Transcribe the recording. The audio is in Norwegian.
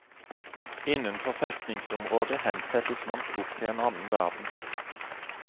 Innenfor festningsområdet hensettes man fort til en annen verden.